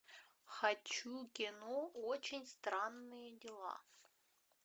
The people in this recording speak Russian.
хочу кино очень странные дела